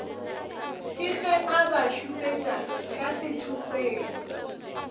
keg e abašupetša ka sethokgweng